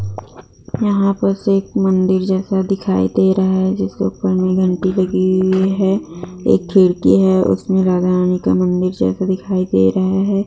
यहाँ बस एक मंदिर जैसा दिखाई दे रहा है जिसके ऊपर में घंटी लगी हुई है एक खिड़की है उसमे राधा-रानी का मन्दिर जैसा दिखाई दे रहा है।